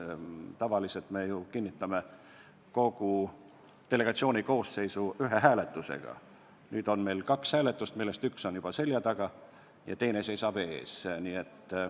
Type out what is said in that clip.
Tavaliselt me ju kinnitame kogu delegatsiooni koosseisu ühe hääletusega, nüüd on meil kaks hääletust, millest üks on juba seljataga ja teine seisab ees.